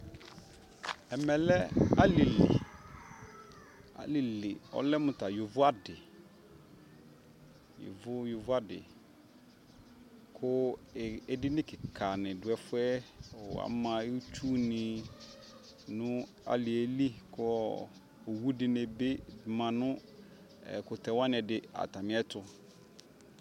ɛmɛ lɛ alili, ɔlɛmʋ ta yɔvɔ adi, yɔvɔ yɔvɔ adi kʋ ɛdini kikaa nidʋ ɛƒʋɛ, ama itsʋ ni nʋ aliɛli kʋ ɔwʋ dini bi manʋ ɛkʋtɛ wani ɛdi atami ɛtʋ